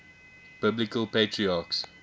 biblical patriarchs